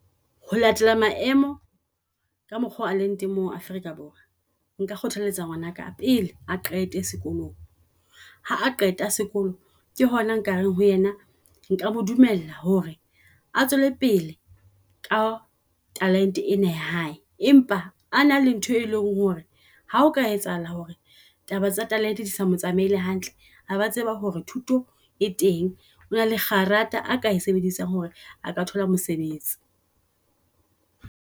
Ho latela maemo ka mokgo a leng teng mo Afrika Borwa. Nka kgothaletsa ngwana ka pele a qete sekolong. Ha a qeta sekolo ke hona nka reng ho ena nka mo dumella hore a tswele pele talenta ena ya hae empa a nang le ntho e leng hore ha o ka etsahala hore taba tsa talente di sa mo tsamaile hantle a ba tseba hore thuto e teng. Ona le karata a ka e sebedisang hore aka thola mosebetsi.